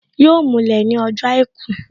Yọ mulẹ̀ ní ọjọ́ àìkú